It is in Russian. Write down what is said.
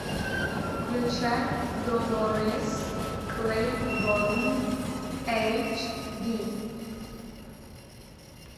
включай долорес клэйборн эйч ди